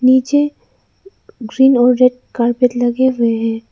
नीचे ग्रीन और red carpet लगे हुए है।